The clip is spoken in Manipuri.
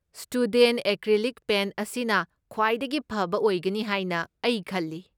ꯁ꯭ꯇꯨꯗꯦꯟꯠ ꯑꯦꯀ꯭ꯔꯤꯂꯤꯛ ꯄꯦꯟꯠ ꯑꯁꯤꯅ ꯈ꯭ꯋꯥꯏꯗꯒꯤ ꯐꯕ ꯑꯣꯏꯒꯅꯤ ꯍꯥꯏꯅ ꯑꯩ ꯈꯜꯂꯤ꯫